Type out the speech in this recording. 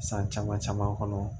San caman caman kɔnɔ